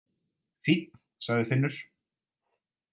Fínn, sagði Finnur.